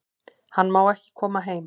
Hann má ekki koma heim